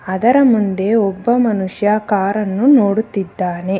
ಅದರ ಮುಂದೆ ಒಬ್ಬ ಮನುಷ್ಯ ಕಾರ್ ಅನ್ನು ನೋಡುತ್ತಿದ್ದಾನೆ.